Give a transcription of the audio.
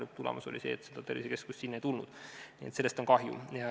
Lõpuks seda tervisekeskust sinna ei tulnud ja sellest on kahju.